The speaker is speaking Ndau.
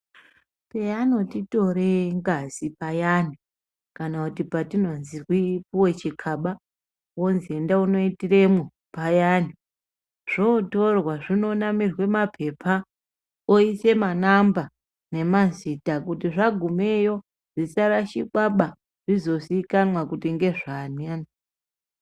Peanotitore ngazi payani kana kuti patinonzwi puwe chigaba wonzwi enda unoitiremwo payani zvotorwa zvinonamirwe mapepa oise ma namba nemazita kuti zvagumeyo zvisa rashikwa ba zvizo zikanwa kuti ngezvani.